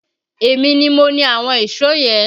Èmi ni mo ni àwọn ìṣó yẹn